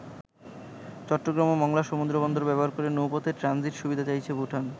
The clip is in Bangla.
চট্টগ্রাম ও মংলা সমুদ্রবন্দর ব্যবহার করে নৌপথে ট্রানজিট সুবিধা চাইছে ভুটান।